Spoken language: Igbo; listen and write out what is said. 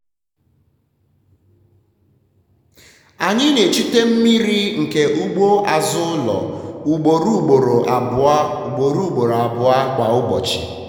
anyị na-echute um mmiri nke ugbo azụ ụlọ um ugbougboro abụọ um ugbougboro abụọ um kwa ụbọchị.